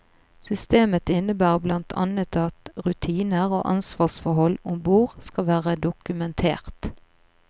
Systemet innebærer blant annet at rutiner og ansvarsforhold om bord skal være dokumentert.